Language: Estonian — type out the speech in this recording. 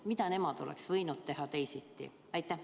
Mida nemad oleks võinud teha teisiti?